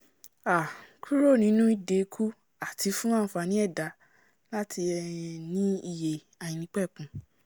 um kúrò nínú ìdè ikú àti fún ànfàní ẹ̀dá láti um ní iyè àìnípẹ̀kun